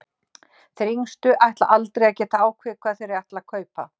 Þeir yngstu ætla aldrei að geta ákveðið hvað þeir ætla að kaupa.